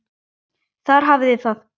Þar hafiði það.